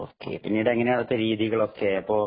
okay, പിന്നീടു എങ്ങനെയാ അവിടത്തെ രീതികളൊക്കെ